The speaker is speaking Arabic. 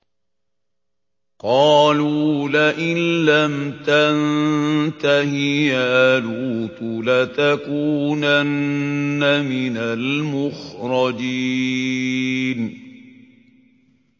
قَالُوا لَئِن لَّمْ تَنتَهِ يَا لُوطُ لَتَكُونَنَّ مِنَ الْمُخْرَجِينَ